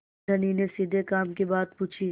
धनी ने सीधे काम की बात पूछी